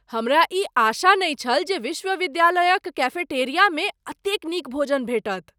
हमरा ई आशा नहि छल जे विश्वविद्यालयक कैफेटेरियामे एतेक नीक भोजन भेटत।